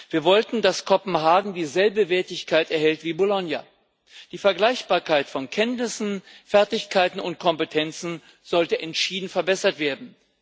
Wir wollten, dass Kopenhagen dieselbe Wertigkeit erhält wie Bologna. Die Vergleichbarkeit von Kenntnissen, Fertigkeiten und Kompetenzen sollte entschieden verbessert werden.